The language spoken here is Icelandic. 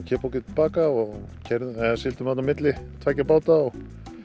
kippa okkur til baka og sigldum milli tveggja báta